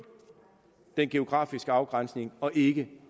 den geografiske afgrænsning og ikke